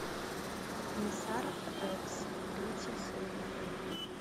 комиссар рекс третья серия